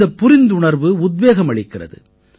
இந்தப் புரிந்துணர்வு உத்வேகம் அளிக்கிறது